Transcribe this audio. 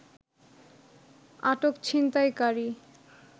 আটক ছিনতাইকারী